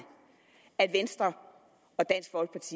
at venstre og dansk folkeparti